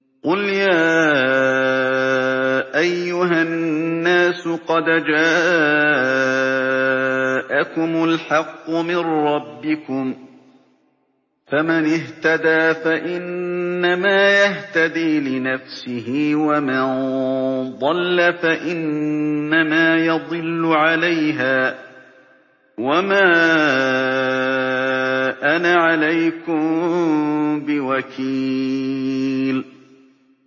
قُلْ يَا أَيُّهَا النَّاسُ قَدْ جَاءَكُمُ الْحَقُّ مِن رَّبِّكُمْ ۖ فَمَنِ اهْتَدَىٰ فَإِنَّمَا يَهْتَدِي لِنَفْسِهِ ۖ وَمَن ضَلَّ فَإِنَّمَا يَضِلُّ عَلَيْهَا ۖ وَمَا أَنَا عَلَيْكُم بِوَكِيلٍ